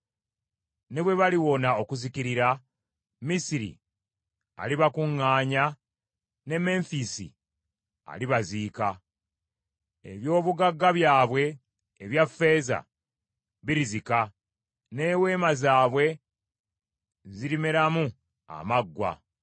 Ne bwe baliwona okuzikirira, Misiri alibakuŋŋaanya, ne Menfisi alibaziika. Eby’obugagga byabwe ebya ffeeza birizika, n’eweema zaabwe zirimeramu amaggwa.